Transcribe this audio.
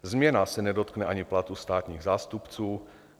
Změna se nedotkne ani platu státních zástupců.